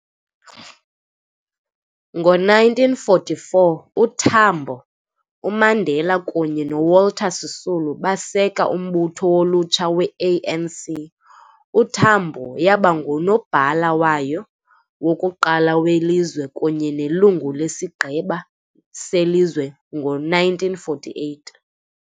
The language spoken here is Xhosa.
Ngo-1944, uTambo, uMandela kunye noWalter Sisulu baseka umbutho wolutsha we-ANC, uTambo yaba nguNobhala wayo wokuqala welizwe kunye nelungu leSigqeba seLizwe ngo-1948.